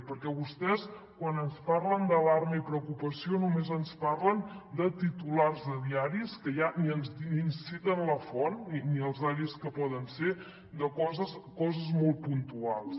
perquè vostès quan ens parlen d’alarma i preocupació només ens parlen de titulars de diaris que ja ni ens citen la font ni els diaris que poden ser de coses molt puntuals